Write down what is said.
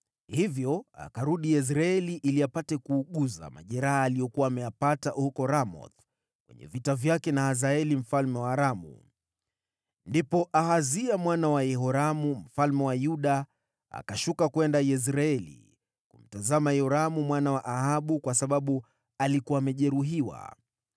Hivyo akarudi Yezreeli ili apate kuuguza majeraha aliyojeruhiwa huko Ramothi alipopigana na Hazaeli mfalme wa Aramu. Ndipo Ahazia mwana wa Yehoramu, mfalme wa Yuda, akashuka kwenda Yezreeli kumtazama Yoramu mwana wa Ahabu, kwa sababu alikuwa amejeruhiwa.